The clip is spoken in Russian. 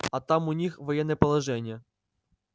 а там у них военное положение